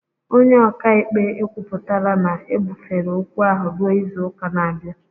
Onye ọka ikpe ekwupụtala na ebufere ókwú ahụ ruo izu ụka na-abịa